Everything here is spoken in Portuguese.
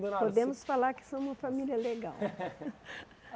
Podemos falar que somos família legal.